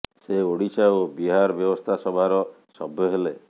ସେ ଓଡିଶା ଓ ବିହାର ବ୍ୟବସ୍ଥା ସଭାର ସଭ୍ୟ ହେଲେ